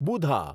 બુધા